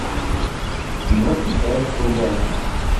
кино исаев врубай